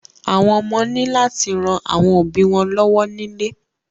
Àwọn ọmọ ni láti ràn àwọn òbí lọwọ nílé.